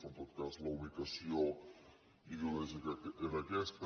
però en tot cas la ubicació ideològica era aquesta